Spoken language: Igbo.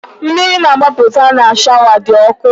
Mmiri na-agbapụta n'ime shawa dị ọkụ.